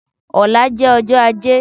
Ọ̀la jẹ́ ọjọ́ ajé